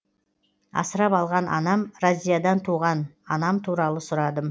асырап алған анам разиядан туған анам туралы сұрадым